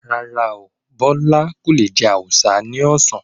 Rárá, Bọ́lá kò le jẹ awùsá ní ọ̀sán.